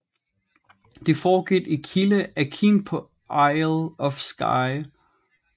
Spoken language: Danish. Det foregik i Kile Akin på Isle of Skye